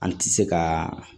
An ti se ka